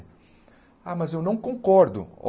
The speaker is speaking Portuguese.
Ah, mas eu não concordo.